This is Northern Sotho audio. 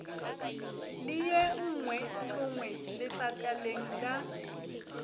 le ye nngweethongwe letlakaleng la